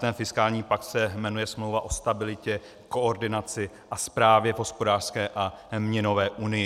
Ten fiskální pakt se jmenuje Smlouva o stabilitě, koordinaci a správě v hospodářské a měnové unii.